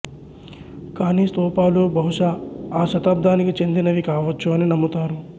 కానీ స్థూపాలు బహుశా ఆ శతాబ్దానికి చెందినవి కావచ్చు అని నమ్ముతారు